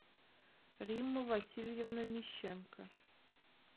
римма васильевна мищенко